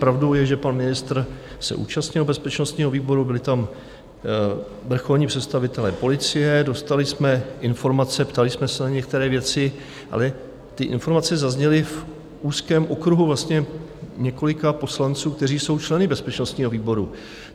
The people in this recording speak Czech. Pravdou je, že pan ministr se účastnil bezpečnostního výboru, byli tam vrcholní představitelé policie, dostali jsme informace, ptali jsme se na některé věci, ale ty informace zazněly v úzkém okruhu vlastně několika poslanců, kteří jsou členy bezpečnostního výboru.